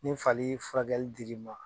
Ni fali furakɛli dir'i ma.